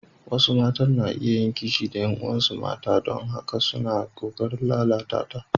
Wasu matan na iya yin kishi da ƴan uwansu mata don haka suna ƙoƙarin lalata ta.